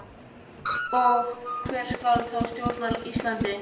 Og hver skal þá stjórna Íslandi?